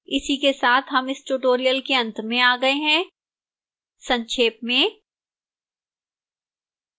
इसी के साथ हम इस tutorial के अंत में आ गए हैं संक्षेप में